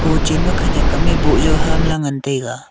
ho chen khenek am a bow jaw hamla ngan tega.